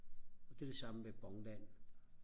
det er det samme med Bon Land